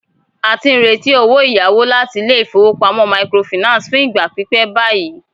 A ti ń retí owó ìyáwó láti ilé ìfowópamọ́ microfinance fún ìgbà pípẹ́ báyìí.